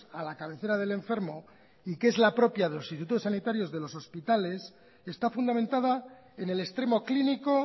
a la cabecera del enfermo y que es la propia de los institutos sanitarios de los hospitales está fundamentada en el extremo clínico